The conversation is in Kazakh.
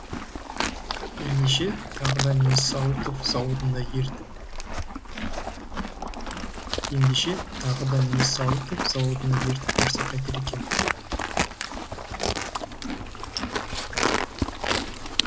ендеше тағы да мисауытов заводына ертіп ендеше тағы да мисауытов заводына ертіп барса қайтер екен